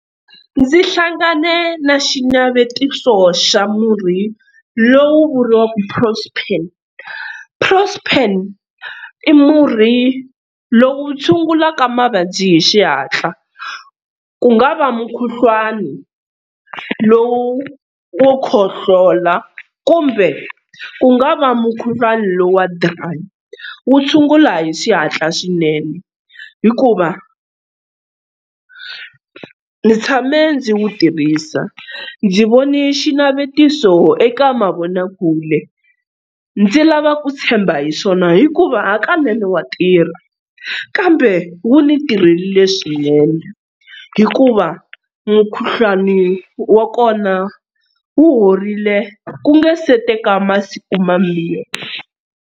Ndzi hlangane na xinavetiso xa murhi lowu vuriwaka prospan, prospan i murhi lowu tshungulaka mavabyi hi xihatla ku nga va mukhuhlwani lowu wo khohlola kumbe ku nga va mukhuhlwana lowu wa dry, wu tshungula hi xihatla swinene hikuva ndzi tshame ndzi wu tirhisa, ndzi vone xinavetiso eka mavonakule ndzi lava ku tshemba hi swona hikuva hakanene wa tirha kambe wu ni tirhelile swinene hikuva mukhuhlwani wa kona wu horile ku nga se teka masiku mambirhi.